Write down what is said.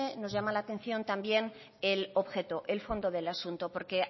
nos llama la atención también el objeto el fondo del asunto porque